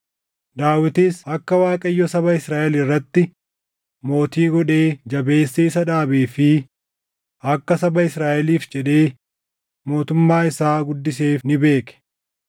Daawitis akka Waaqayyo saba Israaʼel irratti mootii godhee jabeessee isa dhaabee fi akka saba Israaʼeliif jedhee mootummaa isaa guddiseef ni beeke.